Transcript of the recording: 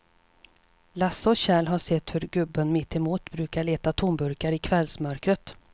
Lasse och Kjell har sett hur gubben mittemot brukar leta tomburkar i kvällsmörkret.